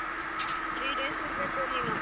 Three days ಇರಬೇಕು ನೀನು.